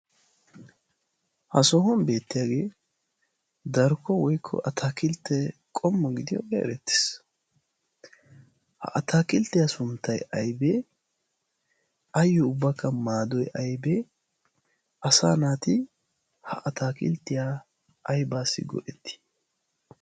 ha soohuwn beettiyaagee darokko woykko a taakilttee qommo gidiyoogee erettiis ha ataakilttiyaa sunttai aibee ayyo ubbakka maadoi aybee asa naati ha ataakilttiyaa aibaassi go'ettii?